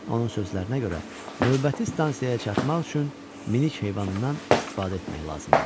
Onun sözlərinə görə, növbəti stansiyaya çatmaq üçün minik heyvanından istifadə etmək lazım idi.